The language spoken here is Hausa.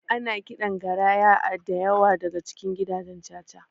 Ana kiɗan garaya a dayawa daka cikin gidajen caca